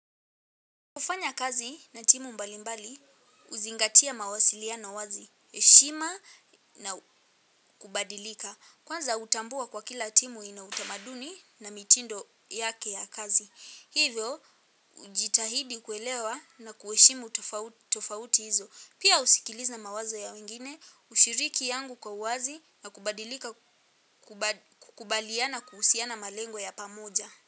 Kufanya kazi na timu mbalimbali, huzingatia mawasiliano wazi, heshima na kubadilika. Kwanza hutambua kwa kila timu ina utamaduni na mitindo yake ya kazi. Hivyo, hujitahidi kuelewa na kuheshimu tofauti hizo. Pia husikiliza mawazo ya wengine, hushiriki yangu kwa uwazi na kubadilika kubaliana kuhusiana malengo ya pamoja.